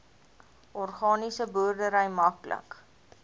organiese boerdery maklik